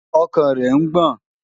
Ọkàn rẹ̀ ń gbọ̀n.